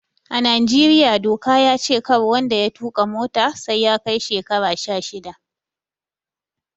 A Najeriya doka ya ce kar wanda ya tuƙa mota sai ya kai shekara sha shida